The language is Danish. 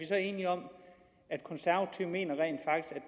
så enige om at mener